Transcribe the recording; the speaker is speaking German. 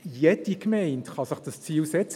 Jede Gemeinde kann sich dieses Ziel setzen;